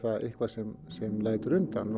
eitthvað sem sem lætur undan